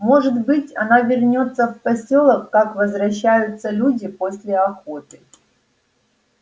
может быть она вернётся в посёлок как возвращаются люди после охоты